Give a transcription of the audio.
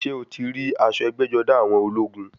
Ṣé o ti rí aṣọ ẹgbẹ́-jọdá àwọn ológun?